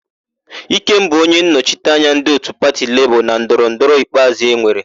Ikem bụ onyennọchite anya ndị òtù pati Lebọọ na ndọrọndọrọ ikpeazụ enwere.